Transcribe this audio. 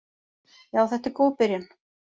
Já þetta er góð byrjun.